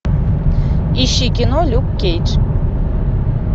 ищи кино люк кейдж